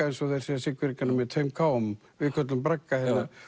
eins og þeir segja Siglfirðingar með tveim k um við köllum bragga hérna